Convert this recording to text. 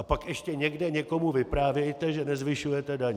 A pak ještě někde někomu vyprávějte, že nezvyšujete daně.